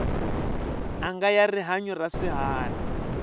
anga ya rihanyu ra swiharhi